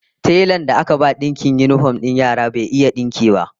Telan da aka ba dinkin yinifom din yaran bai iya dinkin ba